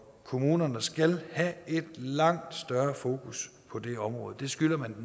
kommunerne skal have langt større fokus på det område det skylder man